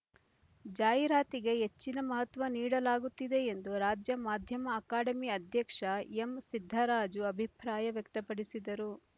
ಜಾಹೀರಾತಿಗೆ ಹೆಚ್ಚಿನ ಮಹತ್ವ ನೀಡಲಾಗುತ್ತಿದೆ ಎಂದು ರಾಜ್ಯ ಮಾಧ್ಯಮ ಅಕಾಡೆಮಿ ಅಧ್ಯಕ್ಷ ಎಂಸಿದ್ದರಾಜು ಅಭಿಪ್ರಾಯ ವ್ಯಕ್ತಪಡಿಸಿದರು